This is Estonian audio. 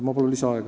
Palun lisaaega!